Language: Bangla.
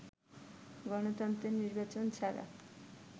গণতন্ত্রে নির্বাচন ছাড়া